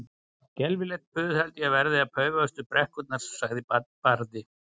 Skelfilegt puð held ég verði að paufast upp brekkurnar, sagði Barði.